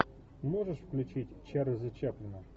можешь включить чарльза чаплина